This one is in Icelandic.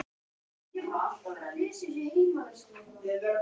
Ég var ekki að spyrja þig.